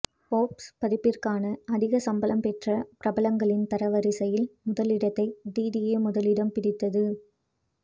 Forbes பதிப்பிற்கான அதிக சம்பளம் பெற்ற பிரபலங்களின் தரவரிசையில் முதலிடத்தை டிடியே முதலிடம் பிடித்தது